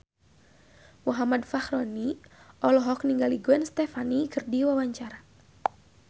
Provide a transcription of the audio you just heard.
Muhammad Fachroni olohok ningali Gwen Stefani keur diwawancara